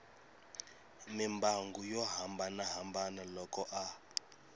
mimbangu yo hambanahambana loko a